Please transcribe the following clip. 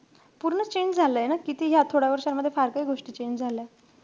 पूर्ण change झालय ना, या थोड्या वर्षामधे फार काई गोष्टी change झाल्यात.